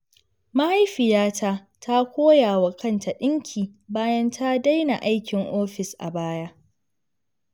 Mahaifiyata ta koya wa kanta ɗinki bayan ta daina aikin ofis a baya.